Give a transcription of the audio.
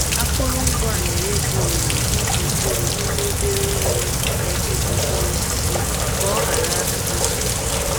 Akụrụngwa a na-enye gị ohere ịkụ mkpụrụ n'ime obere oghere na-echebe mkpụrụ osisi ka ọ ghara ka ọ ghara ikpochapụ.